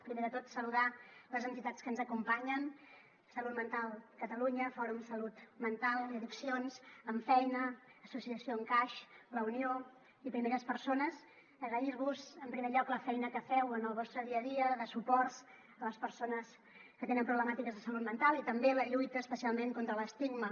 primer de tot saludar les entitats que ens acompanyen salut mental catalunya fòrum salut mental i addiccions ammfeina associació encaix la unió i primeres persones agrair vos en primer lloc la feina que feu en el vostre dia a dia de suport a les persones que tenen problemàtiques de salut mental i també la lluita especialment contra l’estigma